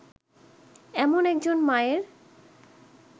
এমন একজন মায়ের